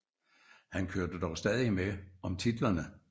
Han kørte dog stadig med om titlerne